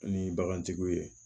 Ni bagantigiw ye